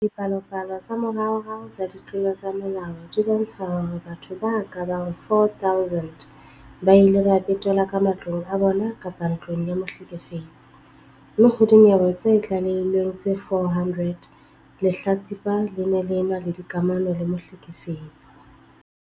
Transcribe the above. Dipalopalo tsa moraorao tsa ditlolo tsa molao di bontsha hore batho ba ka bang 4 000 ba ile ba betelwa ka matlong a bona kapa ntlong ya mohlekefetsi, mme ho dinyewe tse tlalehilweng tse 400, lehlatsipa le ne le ena le dikamano le mohlekefetsi.